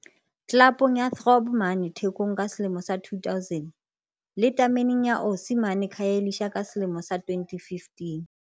tlelapong ya Throb mane Thekong ka selemo sa 2000, le tameneng ya Osi mane Khayelitsha ka selemo sa 2015.